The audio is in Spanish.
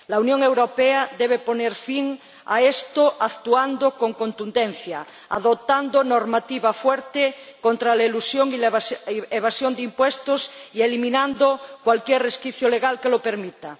La Unión Europea debe poner fin a esto actuando con contundencia, adoptando normativa fuerte contra la elusión y la evasión de impuestos y eliminando cualquier resquicio legal que lo permita.